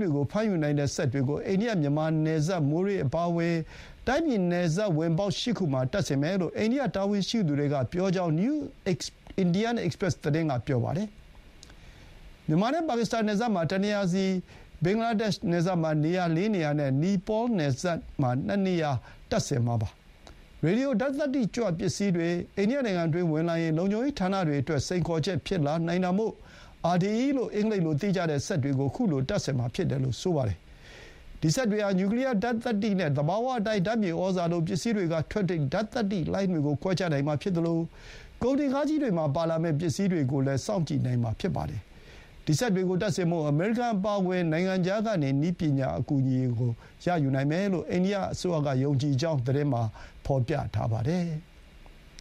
တွေကို ဖမ်းယူနိုင်တဲ့ စက်တွေကို အိန္ဒိယ-မြန်မာနယ်စပ် မိုးရေးအပါအဝင် တိုင်းပြည်နယ်စပ်ဝင်ပေါက် ၈ ခုမှာ တပ်ဆင်မယ်လို့ အိန္ဒိယတာဝန်ရှိသူတွေက ပြောကြောင်း နယူး အိန္ဒိယ အိပ်စ်ပရက်စ် (New Indian Express) သတင်းက ပြောပါတယ်။ မြန်မာနဲ့ ပါကစ္စတန်နယ်စပ်မှာ တနေရာစီ၊ ဘင်္ဂလားဒေ့ရှ်နယ်စပ်မှာ ၄ နေရာနဲ့ နီပေါနယ်စပ် ၂ နေရာမှာ တပ်ဆင်မှာပါ။ ရေဒီယို ဓာတ်သတ္တိကြွပစ္စည်းတွေ အိန္ဒိယနိုင်ငံတွင်းဝင်လာရင် လုံခြုံရေးဌာနတွေအတွက် စိန်ခေါ်ချက်ဖြစ်လာနိုင်တာမို့ RDE လို့ အင်္ဂလိပ်လိုသိကြတဲ့စက်တွေကို ခုလိုတပ်ဆင်မှာ ဖြစ်တယ်လို့ ဆိုပါတယ်။ ဒီစက်တွေဟာ နျူကလီယာဓာတ်သတ္တိနဲ့ သဘာဝအတိုင်း ဓာတ်မြေဩဇာလို ပစ္စည်းတွေကထွက်တဲ့ ဓာတ်သတ္တိလှိုင်းတွေကို ခွဲခြားနိုင်မှာဖြစ်သလို ကုန်တင်ကားကြီးတွေမှာပါလာမယ့် ပစ္စည်းတွေကိုလည်း စောင့်ကြည့်နိုင်မှာ ဖြစ်ပါတယ်။ ဒီ စက်တွေကိုတပ်ဆင်ဖို့ အမေရိကန်အပါအဝင် နိုင်ငံခြားကနေ နည်းပညာအကူအညီကို ရယူနိုင်မယ်လို့ အိန္ဒိယအစိုးရကယုံကြည်ကြောင်း သတင်းမှာ ဖော်ပြထားပါတယ်။